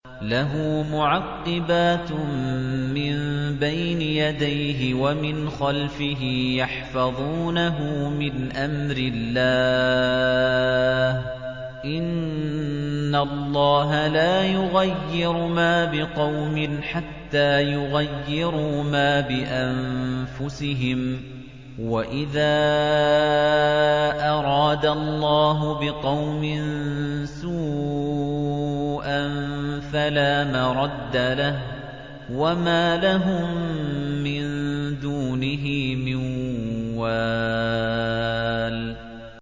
لَهُ مُعَقِّبَاتٌ مِّن بَيْنِ يَدَيْهِ وَمِنْ خَلْفِهِ يَحْفَظُونَهُ مِنْ أَمْرِ اللَّهِ ۗ إِنَّ اللَّهَ لَا يُغَيِّرُ مَا بِقَوْمٍ حَتَّىٰ يُغَيِّرُوا مَا بِأَنفُسِهِمْ ۗ وَإِذَا أَرَادَ اللَّهُ بِقَوْمٍ سُوءًا فَلَا مَرَدَّ لَهُ ۚ وَمَا لَهُم مِّن دُونِهِ مِن وَالٍ